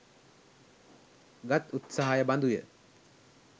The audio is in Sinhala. ගත් උත්සහය බඳු ය.